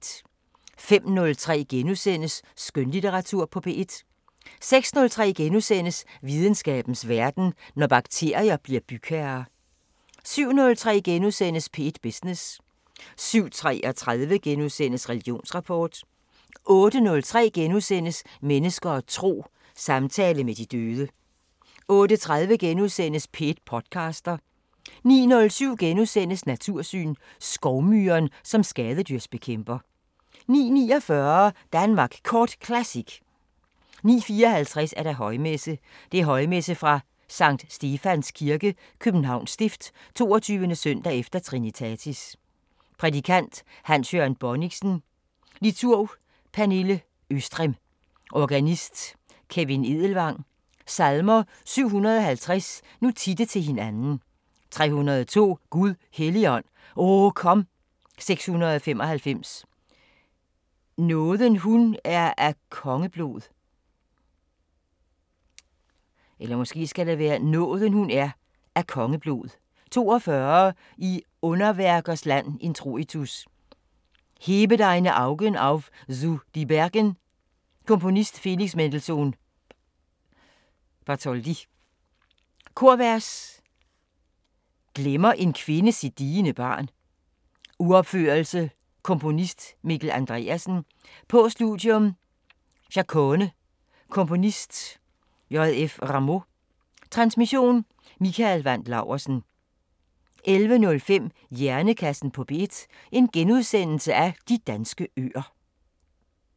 05:03: Skønlitteratur på P1 * 06:03: Videnskabens Verden: Når bakterier bliver bygherrer * 07:03: P1 Business * 07:33: Religionsrapport * 08:03: Mennesker og tro: Samtale med de døde * 08:30: P1 podcaster * 09:07: Natursyn: Skovmyren som skadedyrsbekæmper * 09:49: Danmark Kort Classic 09:54: Højmesse - Højmesse fra Skt. Stefans Kirke, Københavns Stift. 22.s. e. Trinitatis. Prædikant: Hans Jørgen Bonnichsen. Liturg: Pernille Østrem. Organist: Kevin Edelvang. Salmer: 750: Nu titte til hinanden 302: Gud Helligånd, O kom 695: Nåden hun er af kongeblod 42: I underværkers land Introitus: "Hebe deine augen auf zu de bergen" Komponist: Felix Mendelsohn Korvers: "Glemmer en kvinde sit diende barn" Uropførelse. Komponist: Mikkel Andreasen Postludium: "Chacone" Komponist: J. F. Rameau Transmission: Mikael Wandt Laursen 11:05: Hjernekassen på P1: De danske øer *